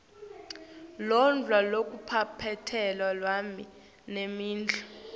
lokudla lokuphathelane nemidlo